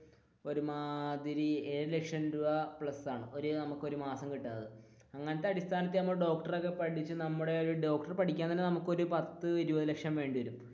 ഒരുമാതിരി ഏഴു ലക്ഷം രൂപ പ്ലസ് ആണ് ഒരു മാസം കിട്ടുന്നത് അങ്ങനത്തെ അടിസ്ഥാനത്തിൽ ഡോക്ടർ ഒക്കെ പഠിച്ചു നമ്മളുടെ ഡോക്ടർ പഠിക്കാൻ തന്നെ നമുക്ക് ഒരു പത്തു ഇരുപതു ലക്ഷം വേണ്ടി വരും.